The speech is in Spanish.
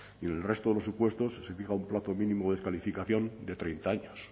y en el resto de los supuestos se fija un plazo mínimo de descalificación de treinta años